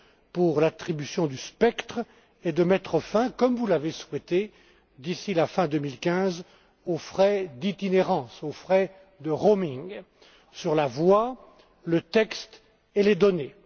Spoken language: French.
pour l'attribution du spectre et de mettre fin, comme vous l'avez souhaité, d'ici la fin 2015 aux frais d'itinérance, aux frais de roaming sur la voix, le texte et les données.